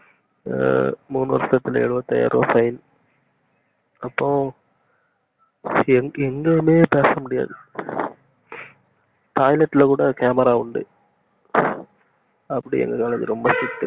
மூனு வருஷத்துக்குள்ள எழுவத்தி ஐயாய்ரவா fine அப்போ எங்கயுமே பேச முடியாது toilet ல கூட camera ஆ உண்டு அப்டி எங்க காலேஜ் ரொம்ப strict